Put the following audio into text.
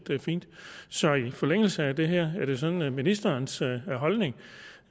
fint så i forlængelse af det her er det sådan at ministerens holdning